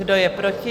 Kdo je proti?